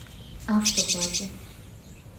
автопати